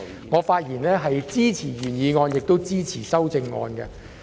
我發言支持原議案，亦支持修正案。